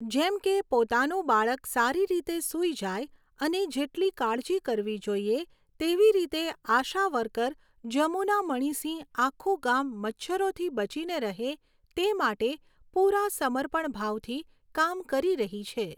જેમ કે, પોતાનું બાળક સારી રીતે સૂઈ જાય અને જેટલી કાળજી કરવી જોઈએ તેવી રીતે આશા વર્કર જમુના મણિસિંહ આખું ગામ મચ્છરોથી બચીને રહે તે માટે પૂરા સમર્પણ ભાવથી કામ કરી રહી છે.